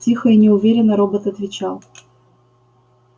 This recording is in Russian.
тихо и неуверенно робот отвечал